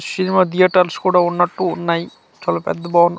Cinema theatres కూడా ఉన్నటు ఉన్నాయి చాలా పెద్ద భవనం .